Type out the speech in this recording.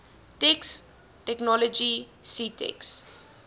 text technology ctext